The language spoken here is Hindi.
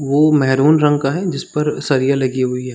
वो मेरून रंग का है जिस पर सालिया लगी हुई है।